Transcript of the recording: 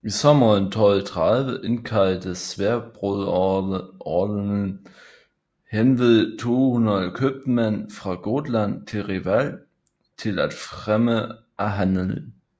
I sommeren 1230 indkaldte Sværdbroderordenen henved 200 købmænd fra Gotland til Reval til fremme af handelen